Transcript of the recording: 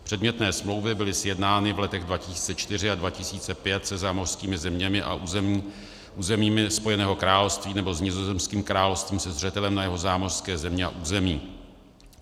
Předmětné smlouvy byly sjednány v letech 2004 a 2005 se zámořskými zeměmi a územími Spojeného království nebo s Nizozemským královstvím se zřetelem na jeho zámořské země a území.